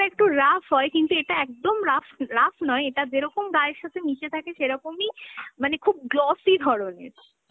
একটু rough হয়, কিন্তু এতা একদম rough, rough নয়, এটা যেরকম গায়ের সাথে মিশে থাকে সেরকমই মানে খুব glossy ধরনের।